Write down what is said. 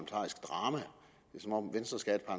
som om venstre skal